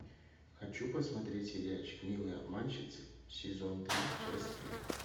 хочу посмотреть сериальчик милые обманщицы сезон три часть три